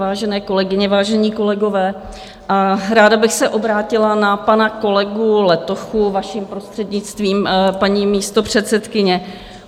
Vážené kolegyně, vážení kolegové, ráda bych se obrátila na pana kolegu Letochu, vaším prostřednictvím, paní místopředsedkyně.